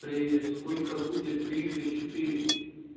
привет сколько будет три умножить на четыре